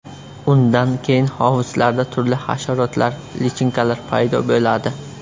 Undan keyin hovuzlarda turli hasharotlar, lichinkalar paydo bo‘ladi.